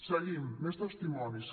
seguim més testimonis